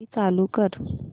AC चालू कर